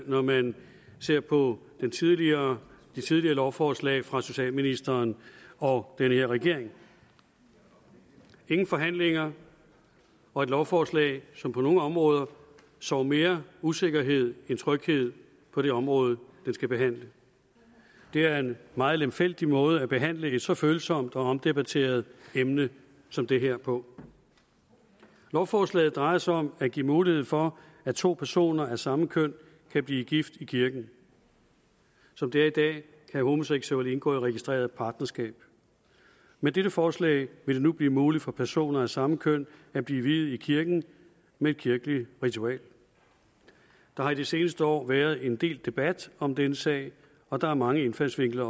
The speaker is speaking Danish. når man ser på de tidligere lovforslag fra socialministeren og den her regering ingen forhandlinger og et lovforslag som på nogle områder sår mere usikkerhed end tryghed på det område det skal dække det er en meget lemfældig måde at behandle et så følsomt og omdebatteret emne som det her på lovforslaget drejer sig om at give mulighed for at to personer af samme køn kan blive gift i kirken som det er i dag kan homoseksuelle indgå i registreret partnerskab med dette forslag vil det nu blive muligt for personer af samme køn at blive viet i kirken med et kirkeligt ritual der har de seneste år været en del debat om denne sag og der er mange indfaldsvinkler